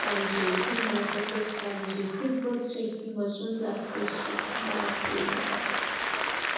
पाहिजे, हे मला तसच पाहिजे, खूपच checking असून, जास्ताच असते बापरे बाप!